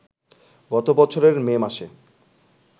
গত বছরের মে মাসে